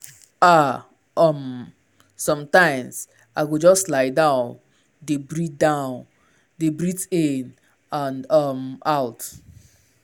ah/ um sometimes i go just lie down dey breathe down dey breathe in and um out.